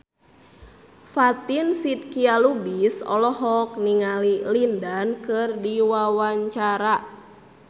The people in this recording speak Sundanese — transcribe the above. Fatin Shidqia Lubis olohok ningali Lin Dan keur diwawancara